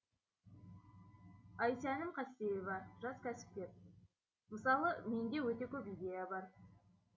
айсәнім қастеева жас кәсіпкер мысалы менде өте көп идея бар